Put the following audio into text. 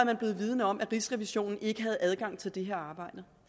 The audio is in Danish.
er blevet vidende om at rigsrevisionen ikke havde adgang til det her arbejde